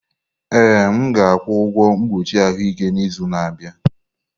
Ee, m ga-akwụ ụgwọ mkpuchi ahụike n'izu na-abịa.